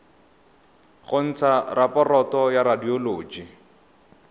go ntsha raporoto ya radioloji